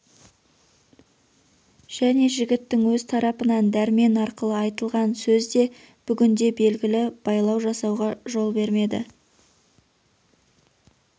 және жігіттің өз тарапынан дәрмен арқылы айтылған сөз де бүгінде белгілі байлау жасауға жол бермеді